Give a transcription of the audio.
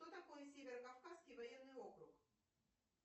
что такое северо кавказский военный округ